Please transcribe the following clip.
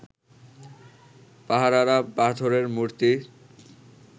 পাহারারা পাথরের মূর্তি